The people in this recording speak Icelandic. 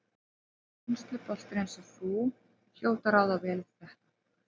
En reynsluboltar eins og þú hljóta að ráða vel við þetta?